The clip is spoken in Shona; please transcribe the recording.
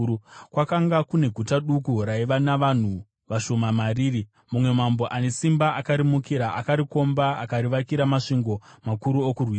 Kwakanga kune guta duku, raiva navanhu vashoma mariri. Mumwe mambo ane simba akarimukira, akarikomba, akarivakira masvingo makuru okurirwisa.